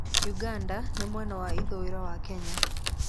Uganda ĩrĩ mwena wa ithũĩro wa Kenya.